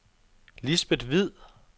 Lisbeth Hviid